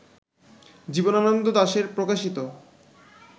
জীবনানন্দ দাশের প্রকাশিত